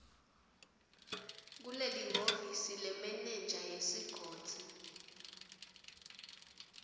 kulelihhovisi lemenenja yesigodzi